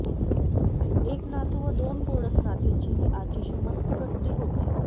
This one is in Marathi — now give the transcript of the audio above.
एक नातू व दोन गोंडस नातींचीही आजीशी मस्त गट्टी होती